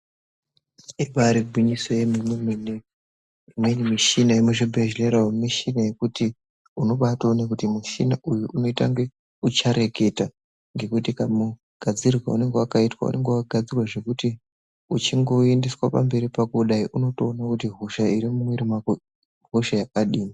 Ibaari gwinyiso yemene mene imweni mishina yemuzvibhehlera umo mishina yekuti unobaatoone kuti mushina uyu unoita kunge uchareketa nekuti kamugadzirwe kaunenge wakaitwa unenge wakagadzirwa zvekuti uchingoendeswa pamberi pako kudai unotoone kuti hosha iri mu mwuiri mwako ihosha yakadini.